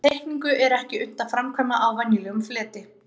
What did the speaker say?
Þessa teikningu er ekki unnt að framkvæma á venjulegum fleti.